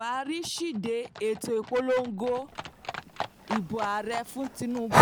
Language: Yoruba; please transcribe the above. buhariside ètò ìpolongo ìbò ààrẹ fún tinubu